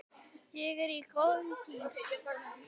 Ég er í góðum gír.